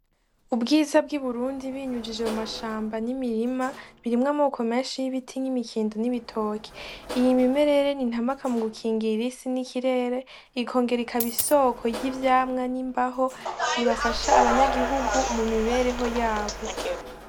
Ubwiza bw'i burundi binyujije mu mashamba n'imirima birimw'amoko menshi y'ibiti , n'imikindi , n'ibitoke . Iyi mimerere n'inkamaka mu gukingira isi n'ikirere , ikongera ikab'isoko ry'ivyamwa n'imbaho ibafasha abanyagihugu mu mibereho yabo.